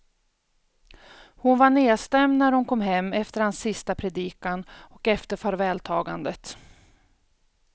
Hon var nedstämd när hon kom hem efter hans sista predikan och efter farvältagandet.